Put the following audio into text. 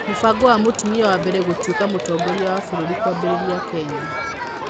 Mũbango wa 'mũtumia wa mbere gũtuĩka mũtongoria wa vũrũri' kwambĩrĩria Kenya